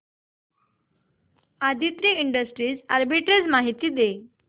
Aditri industries arbitrage माहिती दे